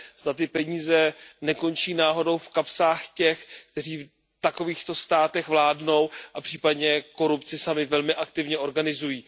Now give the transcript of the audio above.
Zda ty peníze nekončí náhodou v kapsách těch, kteří v takovýchto státech vládnou a případně korupci sami velmi aktivně organizují.